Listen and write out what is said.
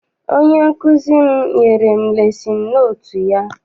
Onye nkụzi m nyere m lesin notu ya.